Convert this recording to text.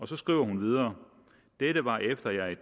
så skriver hun videre dette var efter at jeg